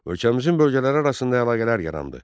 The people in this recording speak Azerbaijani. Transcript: Ölkəmizin bölgələri arasında əlaqələr yarandı.